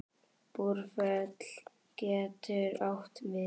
Búrfell getur átt við